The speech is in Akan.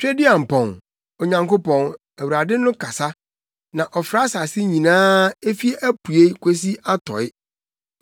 Tweduampɔn, Onyankopɔn, Awurade no kasa, na ɔfrɛ asase nyinaa efi apuei kosi atɔe.